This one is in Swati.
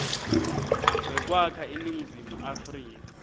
wekwakha iningizimu afrika